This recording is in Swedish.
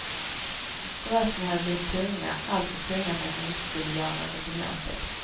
Brösten hade blivit tunga, alltför tunga för att hon inte skulle göra någonting åt det.